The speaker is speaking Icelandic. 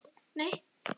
Eru þið tilbúnir í það?